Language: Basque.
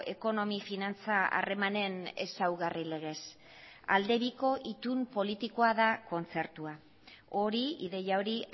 ekonomi finantza harremanen ezaugarri legez alde biko itun politikoa da kontzertua hori ideia hori